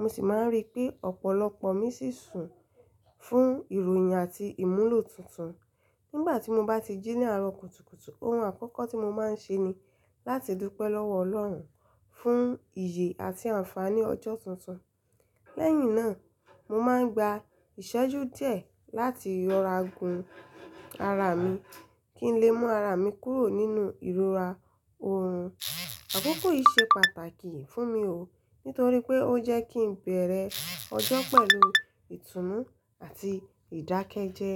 mo sì máa ń rí pé ọ̀pọ̀lọpọ̀ ọmí sì ń sùn fún ìròyìn àti ìmúlò tuntun. Nígbà tí mo bá ti jí ní àárọ̀ kùtùkùtù, ohun àkọ́kọ́ tí mo máa ń ṣe ni láti dúpẹ́ lọ́wọ́ Ọlọ́run fún ìyè àti àǹfààní ọjọ́ tuntun. Lẹ́yìn náà, mo máa ń gba ìṣẹ́jú díẹ̀ láti yọra gun ara mi kí n lè mú ara mi kúrò nínú ìrora òòrùn. Àkókò yìí ṣe pàtàkì fún mi o nítorí pé ó jẹ́ kí ń bẹ̀rẹ̀ ọjọ́ pẹ̀lú ìtùnú àti ìdákẹ́jẹ.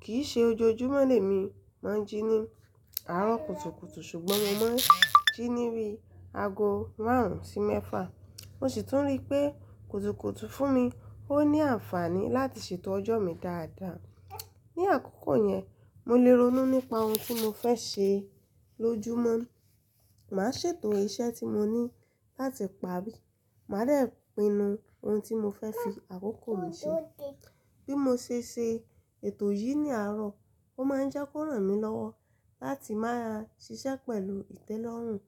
Kì í ṣe ojoojúmọ́ ni èmi máa ń jí ní àárọ̀ kùtùkùtù ṣùgbọ́n mo máa ń jí níbi ago márùn-ún sí mẹ́fà. Mo sì tún rí pé kùtùkùtù fún mi ó ní àǹfààní láti ṣètò ọjọ́ mi dáadáa. Ní àkókò yẹn, mo lè ronú nípa ohun tí mo fẹ́ ṣe lójúmọ́, màá ṣètò iṣẹ́ tí mo ní láti parí, màá dè pinnu ohun tí mo fẹ́ fi àkókò mi ṣe. Bí mo ṣe ṣe ètò yìí ní àárọ̀, ó máa ń jẹ́ kó ràn mí lọ́wọ́ láti máa ṣiṣẹ́ pẹ̀lù ìtẹ́lọ́rùn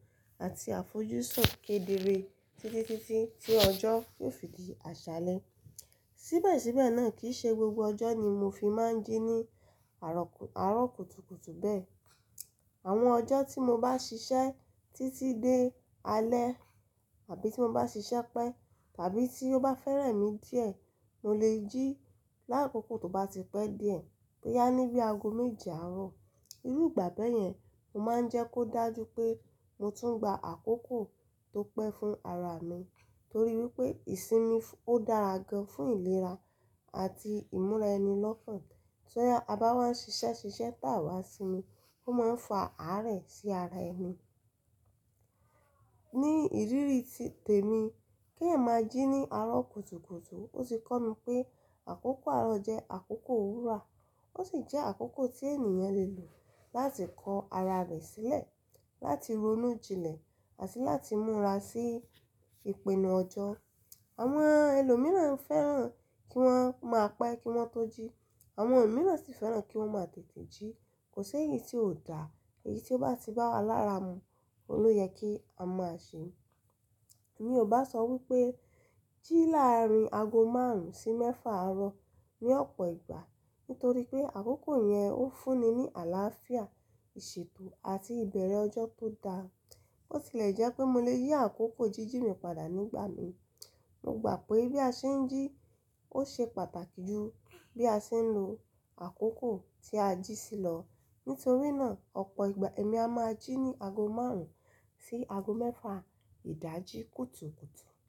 àti àfojúsùn kedere títí títí tí ọjọ́ yóò fi di àṣálẹ́. Síbẹ̀síbẹ̀ náà kì í ṣe gbogbo ọjọ́ ni mo fi máa ń jí ní àárọ̀ kù, àárọ̀ kùtùkùtù bẹ́ẹ̀. Àwọn ọjọ́ tí mo bá ṣiṣẹ́ títí dé alẹ́ àbí tí mo bá ṣiṣẹ́ pẹ́ tàbí tí ó bá fẹ́rẹ̀ mí díẹ̀, mo lè jí lákókó tó bá ti pẹ́ díẹ̀ bóyá níbi ago méje àárọ̀. Irú ìgbà bẹ́ẹ̀ yẹn, mo máa ń jẹ́ kó dájú pé mo tún gba àkókò tó pẹ́ fún ara mi torí wípé ìsinmi ó dára gan fún ìlera àti ìmúra ẹni lọ́kàn. Ti à bá wá ń ṣiṣẹ́ ṣiṣẹ́ tà wá sí mi, ó máa ń fa àárẹ̀ sí ara ẹni. Ní ìrírí ti tèmi kí èyan máa jí ní àárọ̀ kùtùkùtù, ó ti kọ́ mi pé àkókò àárọ̀ jẹ́ àkókò wúrà, ó sì jẹ́ àkókò tí ènìyàn lè lò láti kọ ara rẹ̀ sílẹ̀, láti ronú jinlẹ̀ àti láti múra sí ìpinnu ọjọ́. Àwọn ẹlòmíràn fẹ́ràn kí wọ́n máa pẹ́ kí wọ́n tó jí, àwọn mìíràn sì fẹ́ràn kí wọ́n máa tètè jí. Kò si èyí tí ò dá, èyí tí ó bá ti bá wa lára mu, òun ló yẹ kí a máa ṣe. Mi ò bá sọ wípé jí láàrín ago márùn-ún sí mẹ́fà àárọ̀ ní ọ̀pọ̀ ìgbà nítorí pé àkókò yẹn ó fún ni ní àlàáfíà, ìṣètò àti ìbẹ̀rẹ̀ ọjọ́ tó dá. Bo ti lè jẹ́ pé mo lè yí àkókò jíjí mi padà nígbà mi. Mo gbà pé bí a ṣe ń jí ó ṣe pàtàkì ju bí a ṣe ń lo àkókò tí a jí sí lọ. Nítorí náà, ọ̀pọ̀ ìgbà èmi a máa jí ní ago márùn-ún sí ago mẹ́fà ìdájí kùtùkùtù.